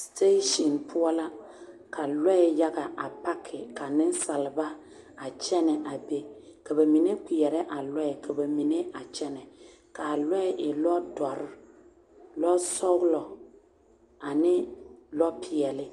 Sidaasiŋ poɔ la ka lɔɛ yaga a paki ka nensalba kyɛnɛ a be ka bamine kpɛrɛɛ a lɔɛ ka bamine a kyɛnɛ ka a lɔɛ a e lɔrɔ duoro lɔsɔglɔ ane lɔpeɛle